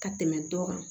Ka tɛmɛ dɔ kan